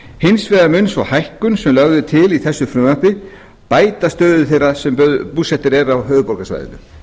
hins vegar mun sú hækkun sem lögð er til með þessu frumvarpi bæta stöðu þeirra sem eru búsettir á höfuðborgarsvæðinu